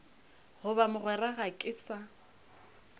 goba mogwera ga ke sa